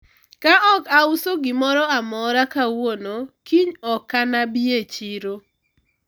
ka ok auso gimoro amora kawuono kiny okana bi e chiro